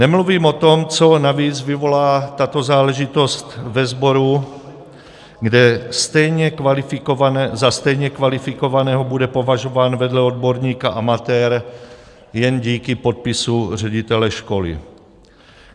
Nemluvím o tom, co navíc vyvolá tato záležitost ve sboru, kde za stejně kvalifikovaného bude považován vedle odborníka amatér jen díky podpisu ředitele školy.